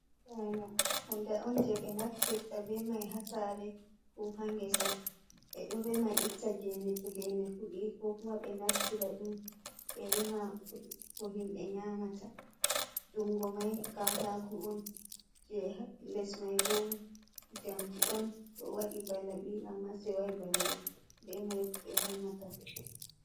Banoo hunde on je be naftirta be mai hasare ko ha ngesa, ɓe ɗo rema itta gene to gene fudi ko kuma ɓe naftira ɗum ɓe rema ko himɓe nyamata, jungo mai katako on je les mai bo njamdi on ɗo waɗi balabi amma sewai balabi ɓe mai ɓe remata.